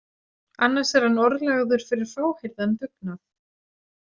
Annars er hann orðlagður fyrir fáheyrðan dugnað.